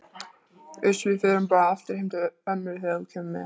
Uss, við förum bara aftur heim til ömmu og þú kemur með.